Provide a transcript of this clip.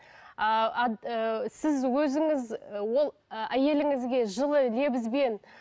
ыыы ы сіз өзіңіз ол ы әйеліңізге жылы лебізбен